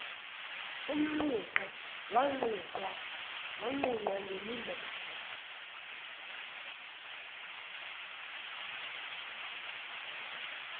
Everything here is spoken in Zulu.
umnquqe wanqunqwa ngemimese